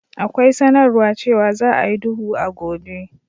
Akwai sanarwar cewa za a yi duhu a gobe.